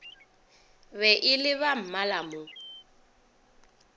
be e le bammala mo